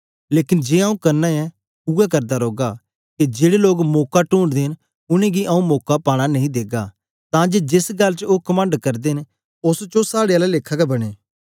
लेकन जे आंऊँ करना ऐ उवै करदा रौगा के जेड़े लोग मौका टूंडदे न उनेंगी आंऊँ मौका पाना नेई देगा तां जे जेस गल्ल च ओ कमंड करदे न ओस च ओ साड़े आला लेखा गै बनें